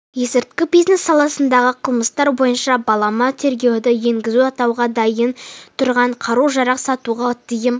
есірткі бизнесі саласындағы қылмыстар бойынша балама тергеуді енгізу атуға дайын тұрған қару-жарақ сатуға тыйым